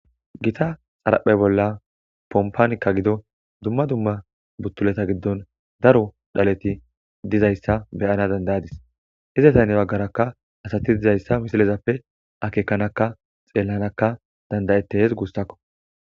Gita xaraphe bolla pompanikka gido dumma dumma buttuleta giddon daro dhaleti dizayssa beyana dandayadis hizetaynne baggarakka asati dizayssa misilezappe akeekanakka xeellanakka dandayete hees guussakko